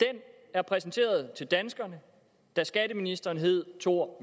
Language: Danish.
er præsenteret til danskerne da skatteministeren hed thor